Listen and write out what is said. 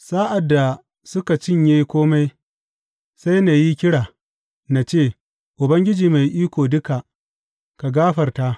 Sa’ad da suka cinye kome, sai na yi kira, na ce, Ubangiji Mai Iko Duka, ka gafarta!